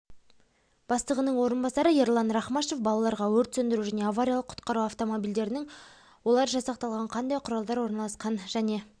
бастығының орынбасары ерлан рахмашев балаларға өрт сөндіру және авариялық-құтқару автомобильдерінің олар жасақталған қандай құралдар орналасқан және